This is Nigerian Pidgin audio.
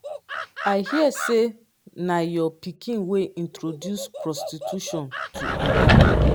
i hear say na your pikin wey introduce prostitution to ada